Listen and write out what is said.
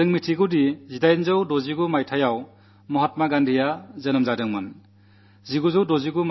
നമുക്കറിയാം 1869 ൽ മഹാത്മാഗാന്ധി ജനിച്ചു